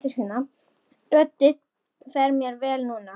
Röddin fer mér vel núna.